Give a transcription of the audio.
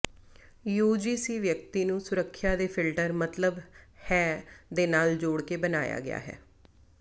UGC ਵਿਅਕਤੀ ਨੂੰ ਸੁਰੱਖਿਆ ਦੇ ਫਿਲਟਰ ਮਤਲਬ ਹੈ ਦੇ ਨਾਲ ਜੋੜ ਕੇ ਬਣਾਇਆ ਗਿਆ ਹੈ